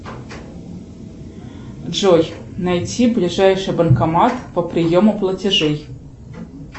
джой найти ближайший банкомат по приему платежей